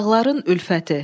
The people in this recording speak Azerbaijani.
Dağların Ülfəti.